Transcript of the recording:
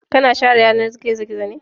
Ka na share yanar gizo-gizo ne?